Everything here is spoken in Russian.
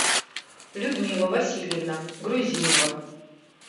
людмила васильевна грузинова